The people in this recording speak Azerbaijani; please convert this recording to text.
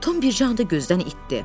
Tom birca anda gözdən itdi.